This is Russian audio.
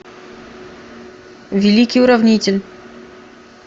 великий уравнитель